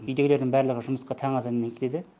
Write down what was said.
үйдегілердің барлығы жұмысқа таң азанымен кетеді